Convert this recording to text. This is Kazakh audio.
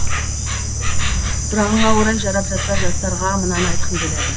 сұрағыңа орай жарап жатса жастарға мынаны айтқым келеді